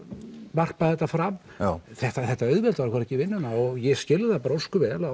varpa þetta fram þetta þetta auðveldar okkur ekki vinnuna og ég skil það ósköp vel að